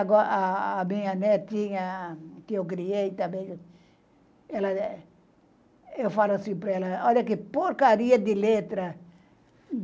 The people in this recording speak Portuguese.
Aa minha netinha, que eu criei também, eu falo assim para ela, olha que porcaria de letra.